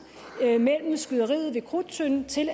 mellem skyderiet ved krudttønden til